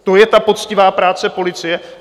To je ta poctivá práce policie?